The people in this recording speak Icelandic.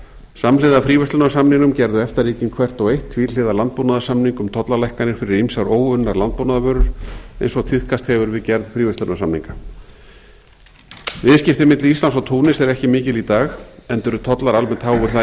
samhliða fríverslunarsamningnum gerðu efta ríkin hvert og eitt tvíhliða landbúnaðarsamning um tollalækkanir fyrir ýmsar óunnar landbúnaðarvörur eins og tíðkast hefur við gerð fríverslunarsamninga viðskiptin milli íslands og túnis eru ekki mikil í dag enda eru tollar almennt háir þar